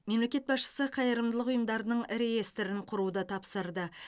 мемлекет басшысы қайырымдылық ұйымдарының реестрін құруды тапсырды